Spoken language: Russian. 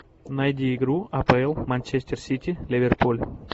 найди игру апл манчестер сити ливерпуль